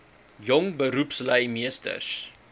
jong beroepslui meesters